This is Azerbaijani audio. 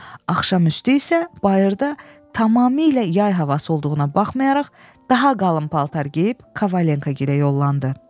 Axşam üstü isə bayırda tamamilə yay havası olduğuna baxmayaraq, daha qalın paltar geyib Kavalento gilə yollandı.